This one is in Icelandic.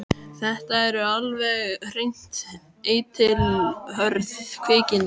Þetta eru alveg hreint eitilhörð kvikindi.